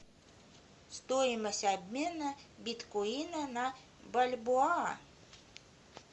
стоимость обмена биткоина на бальбоа